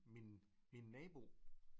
Min min nabo